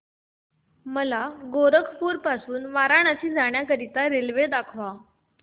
मला गोरखपुर पासून वाराणसी जाण्या करीता रेल्वे दाखवा